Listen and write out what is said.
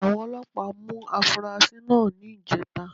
Àwọn Ọlọ́pàá mú afurasí náà ní ìjẹta